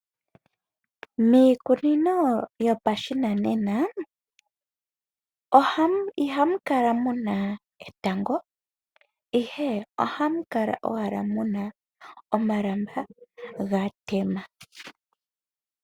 Miikunino yopashinanena ihamu kala muna etango ihe ohamu kala owala muna omalamba ga tema.